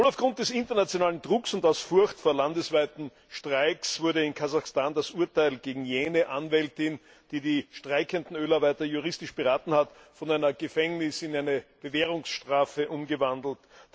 Wohl aufgrund des internationalen Drucks und aus Furcht vor landesweiten Streiks wurde in Kasachstan das Urteil gegen jene Anwältin, die die streikenden Ölarbeiter juristisch beraten hat, von einer Gefängnis in eine Bewährungsstrafe umgewandelt.